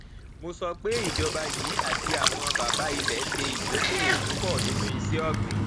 mo sọ pé ìjọba yìí àti àwọn bàbá ilẹ ṣe ìdókòwò púpọ nínú iṣẹ ògbìn